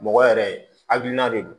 Mɔgɔ yɛrɛ hakilina de don